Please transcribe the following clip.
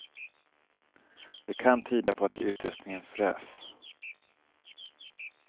Det kan tyda på att utrustningen frös.